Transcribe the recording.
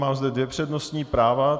Mám zde dvě přednostní práva.